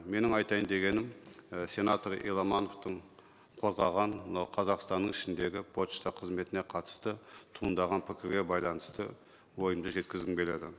менің айтайын дегенім і сенатор еламановтың қолдаған мынау қазақстанның ішіндегі пошта қызметіне қатысты туындаған пікірге байланысты ойымды жеткізгім келеді